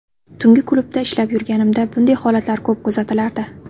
Tungi klubda ishlab yurganimda bunday holatlar ko‘p kuzatilardi.